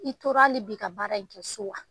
I tora hali bi ka baara in kɛ so wa?